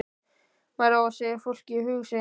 Maður á að segja fólki hug sinn.